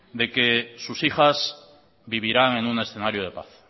de que sus hijas vivirán en un escenario de paz